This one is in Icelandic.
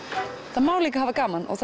það má líka hafa gaman og